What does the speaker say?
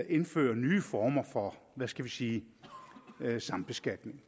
indfører nye former for hvad skal vi sige sambeskatning